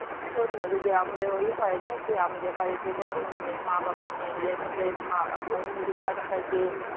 শোন না যদি আমাদের ওই হয় না যে আমাদের বাড়িতে কোনো মানে কোনো মা বাবা নেই বা নিজের মা মানে নিজের বাচ্চাকে